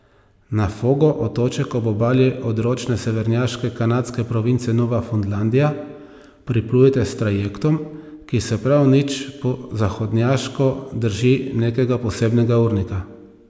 Na Fogo, otoček ob obali odročne severnjaške kanadske province Nova Fundlandija, priplujete s trajektom, ki se prav nič po zahodnjaško drži nekega posebnega urnika.